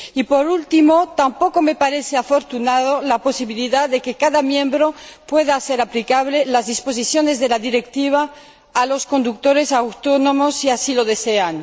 Por último, tampoco me parece afortunada la posibilidad de que cada Estado miembro pueda hacer aplicable las disposiciones de la Directiva a los conductores autónomos si así lo desea.